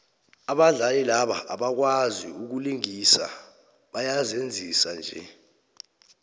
abadlali laba abakwazai ukulingisa bayazenzisa nje